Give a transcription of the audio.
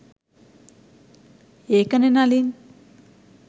ඒකනේ නලීන්